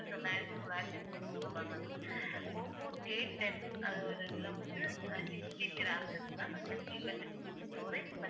Oppo Aten அதோட இதுல வந்து அஹ் sixGBramma'am நூத்தி இருபத்தி எட்டு GBstorage